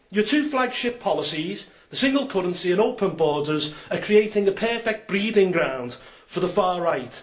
Your two flagship policies the single currency and open borders are creating a perfect breeding ground for the far right.